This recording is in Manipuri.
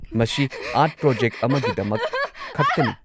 ꯃꯁꯤ ꯑꯥꯔꯠ ꯄ꯭ꯔꯣꯖꯦꯛ ꯑꯃꯒꯤꯗꯃꯛ ꯈꯛꯇꯅꯤ꯫